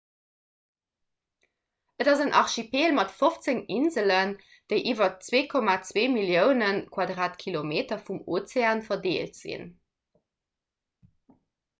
et ass en archipel mat 15 inselen déi iwwer 2,2 millioune km² vum ozean verdeelt sinn